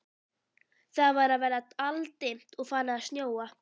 Það var að verða aldimmt og farið að snjóa.